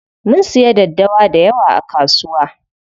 Mun siyo daddawa dayawa a kasuwa.